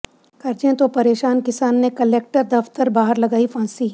ਕਰਜ਼ੇ ਤੋਂ ਪਰੇਸ਼ਾਨ ਕਿਸਾਨ ਨੇ ਕੁਲੈਕਟਰ ਦਫ਼ਤਰ ਬਾਹਰ ਲਗਾਈ ਫਾਂਸੀ